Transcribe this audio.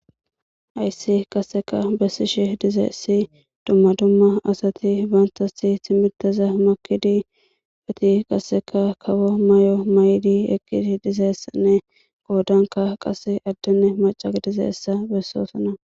Hayssi qasseka bessishe dizeessi dumma dumma asati baantasi timiteza makidi beti qasseka kawo may7o may7idi eqqidi dizeessanne goodanka qase addenne maca dizeessa bessoosana